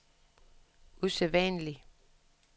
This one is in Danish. usædvanlig